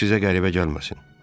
Bu sizə qəribə gəlməsin.